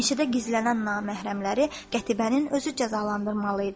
Meşədə gizlənən naməhrəmləri Qətibənin özü cəzalandırmalı idi.